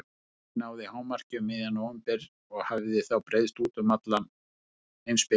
Sú hreyfing náði hámarki um miðjan nóvember og hafði þá breiðst út um alla heimsbyggðina.